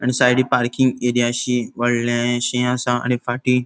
आणि सायडींक पार्किंग एरियाशी वोडलेशे आसा आणि फाटी --